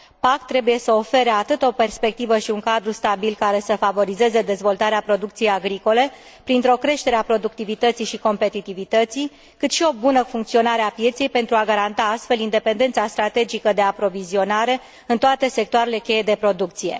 PAC trebuie să ofere atât o perspectivă și un cadru stabil, care să favorizeze dezvoltarea producției agricole printr o creștere a productivității și competitivității, cât și o bună funcționare a pieței, pentru a garanta astfel independența strategică de aprovizionare în toate sectoarele cheie de producție.